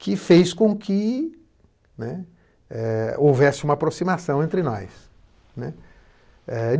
que fez com que, né, eh, houvesse uma aproximação entre nós, né? Eh